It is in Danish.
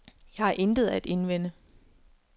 Jeg har intet at indvende.